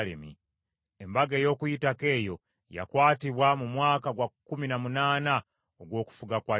Embaga ey’Okuyitako eyo yakwatibwa mu mwaka gwa kkumi na munaana ogw’okufuga kwa Yosiya.